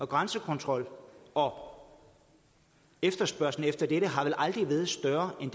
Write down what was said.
grænsekontrol og efterspørgslen efter dette har vel aldrig været større end